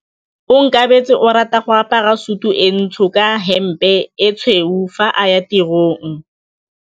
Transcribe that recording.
Onkabetse o rata go apara sutu e ntsho ka hempe e tshweu fa a ya tirong.